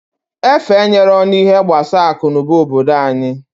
Efe enyeroo n'ihe gbasa aku n'uba obodo anyị.